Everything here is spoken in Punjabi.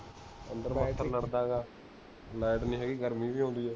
ਲਾਈਟ ਨੀ ਹੈਗੀ, ਗਰਮੀ ਵੀ ਹੋਂਦੀ ਹੈ